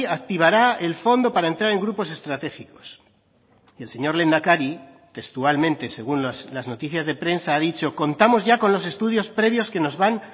activará el fondo para entrar en grupos estratégicos y el señor lehendakari textualmente según las noticias de prensa ha dicho contamos ya con los estudios previos que nos van